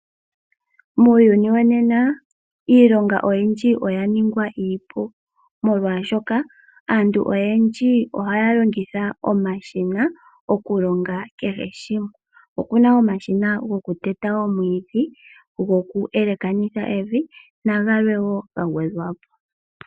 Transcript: Muuyuni wonena iilonga oyindji oyaningwa iipu molwashoka aantu oyendji ohaya longitha omashina okulonga kehe shimwe. Opuna omashina gokuteta omwidhi, gokuyelekanitha evi na gamwe wo gagwedhwa po.